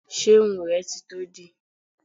Ṣé irun rẹ ti tó dì?